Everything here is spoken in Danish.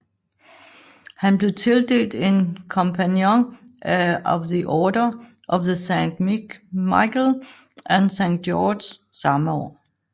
Han blev tildelt en Companion of the Order of St Michael and St George samme år